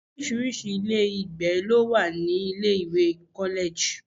Orísirísi ilé ìgbé ló wà ní ilé ìwé college.